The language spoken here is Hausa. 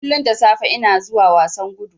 Kullun da safe ina zuwa wasan gudu.